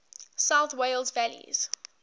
south wales valleys